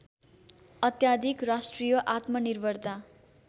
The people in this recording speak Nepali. अत्याधिक राष्ट्रिय आत्मनिर्भरता